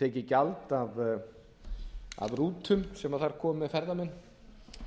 tekið gjald af rútum sem þá komu með ferðamenn